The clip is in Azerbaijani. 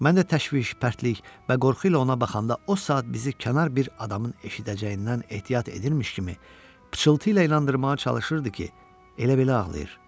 Mən də təşviş, pərtlik və qorxu ilə ona baxanda o saat bizi kənar bir adamın eşidəcəyindən ehtiyat edirmiş kimi pıçıltı ilə inandırmağa çalışırdı ki, elə-belə ağlayır.